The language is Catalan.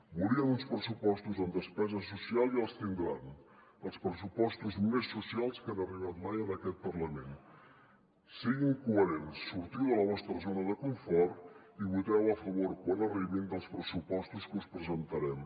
volien uns pressupostos amb despesa social i els tindran els pressupostos més socials que han arribat mai a aquest parlament sigui coherents sortiu de la vostra zona de confort i voteu a favor quan arribin dels pressupostos que us presentarem